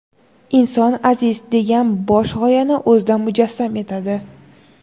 inson aziz degan bosh g‘oyani o‘zida mujassam etadi.